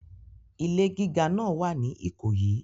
Ilé gíga náà wà ní Ìkòyí.